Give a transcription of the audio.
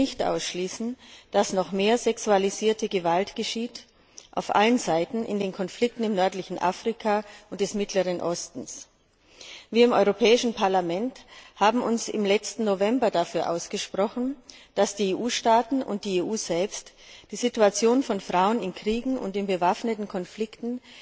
Wir können nicht ausschließen, dass noch mehr sexualisierte Gewalt auf allen Seiten in den Konflikten im nördlichen Afrika und des Mittleren Ostens geschieht. Wir im Europäischen Parlament haben uns im letzten November dafür ausgesprochen, dass die EU Staaten und die EU selbst die Situation von Frauen in Kriegen und in bewaffneten Konflikten